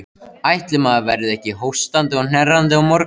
Ætli maður verði ekki hóstandi og hnerrandi á morgun.